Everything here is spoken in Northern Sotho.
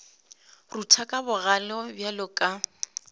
rutla ka bogale bjalo ka